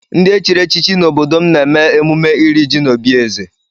Ndị e chiri echichi n'obodo m na-eme emume iri ji n'obi eze